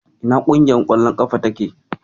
Ina ƙungiyar ƙwallon ƙafan take?